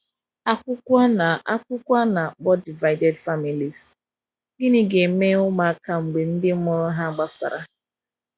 akwukwo ana akwukwo ana akpo divided families - gini ga eme ụmụ aka mgbe ndi mụrụ ha gbasara